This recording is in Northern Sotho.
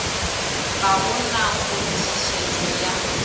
ga go na kgonthišetšo ya